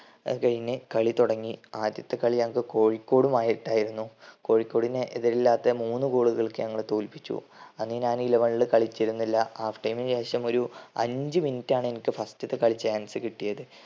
അത് കഴിഞ്ഞു കളി തുടങ്ങി. ആദ്യത്തെ കളി ഞങ്ങൾക്ക് കോഴിക്കോടുമായിട്ടായിരുന്നു. കോഴിക്കോടിനെ എതിരില്ലാത്ത മൂന്ന് goal ളുകൾക്ക് ഞങ്ങൾ തോൽപ്പിച്ചു. അന്ന് ഞാൻ eleven ൽ കളിച്ചിരുന്നില്ല half time ന് ശേഷം ഒരു അഞ്ചു minute ആണ് first ത്തെ കളി എനിക്ക് chance കിട്ടിയത്